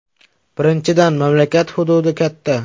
Birinchidan, mamlakat hududi katta.